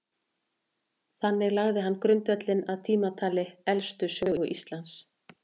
þannig lagði hann grundvöllinn að tímatali elstu sögu íslands